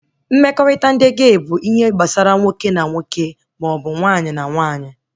Mmekọrịta ndị gey bụ ihe gbasara nwoke na nwoke maọbụ nwaanyị na nwaanyị